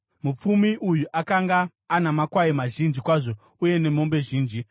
Mupfumi uyu akanga ana makwai mazhinji kwazvo uye nemombe zhinji,